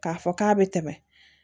K'a fɔ k'a bɛ tɛmɛ